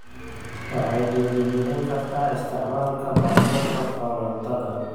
Waxay dhiirigelin kartaa isticmaalka baabuurta korontada.